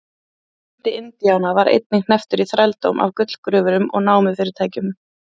fjöldi indíána var einnig hnepptur í þrældóm af gullgröfurum og námufyrirtækjum